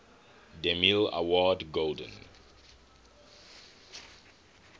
demille award golden